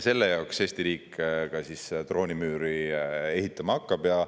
Selle jaoks Eesti riik siis droonimüüri ehitama hakkabki.